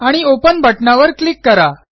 आणि ओपन बटणावर क्लिक करा